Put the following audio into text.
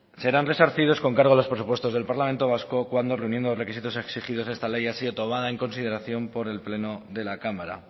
serán resarcidos con cargo a los presupuestos del parlamento vasco cuando reuniendo los requisitos exigidos de esta ley haya sido tomada en consideración por el pleno de la cámara